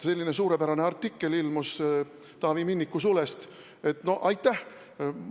Selline suurepärane artikkel ilmus Taavi Minniku sulest – no aitäh!